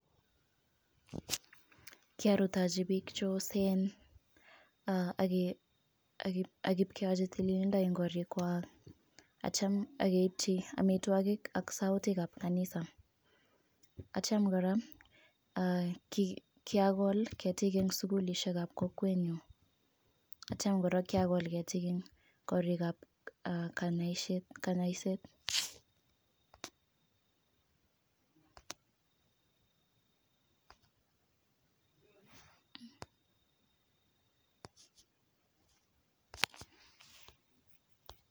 Kiarutechi biik cheosen, ak aboyochii tililindo en korikwak.ak yeityoo keibchi amitwogiik ak sautikab kanisa.At yeityo kora ko kiragol keetik en sugulisiekab kokwenyun atyeityoo kora kokiragol keetik en korikab kanyoiset